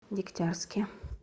дегтярске